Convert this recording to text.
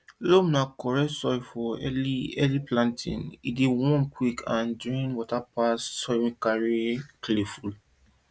loam na correct soil for early early planting e dey warm quick and drain water pass soil wey clay full